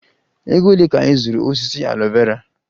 Ego ole ka ị zụrụ osisi aloe Vera?